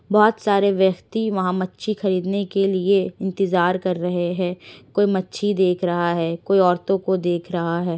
बहोत सारे व्यक्ति वहां मच्छी खरीदने के लिए इंतज़ार कर रहे हैं। कोई मच्छी देख रहा है कोई औरतों को देख रहा है।